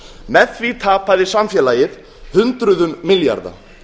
með því tapaði samfélagið hundruðum milljarða